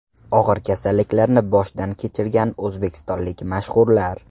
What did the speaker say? Og‘ir kasalliklarni boshdan kechirgan o‘zbekistonlik mashhurlar .